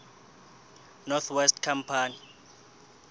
north west company